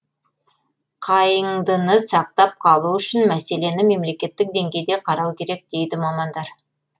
қайыңдыны сақтап қалу үшін мәселені мемлекеттік деңгейде қарау керек дейді мамандар